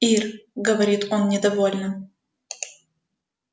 ир говорит он недовольно